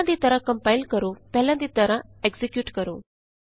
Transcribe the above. ਪਹਿਲਾਂ ਵਾਂਗ ਕੰਪਾਇਲ ਕਰੋ ਪਹਿਲਾਂ ਵਾਂਗ ਐਕਜ਼ੀਕਿਯੂਟ ਕਰੋ